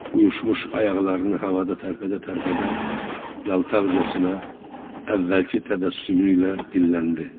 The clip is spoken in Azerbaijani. Uyuşmuş ayaqlarını havada tərpədə-tərpədə yalqaqcasına əvvəlki təbəssümü ilə dilləndi.